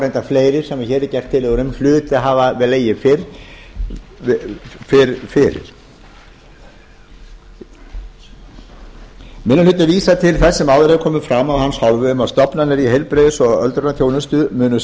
reyndar fleiri sem hér eru gerðar tillögur um hlutu að hafa legið fyrr fyrir minni hlutinn vísar til þess sem áður hefur komið fram af hans hálfu um að stofnanir í heilbrigðis og öldrunarþjónustu munu